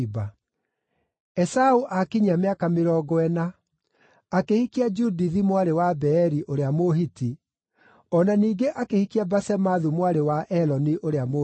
Esaũ aakinyia mĩaka mĩrongo ĩna, akĩhikia Judithi mwarĩ wa Beeri ũrĩa Mũhiti, o na ningĩ akĩhikia Basemathu mwarĩ wa Eloni ũrĩa Mũhiti.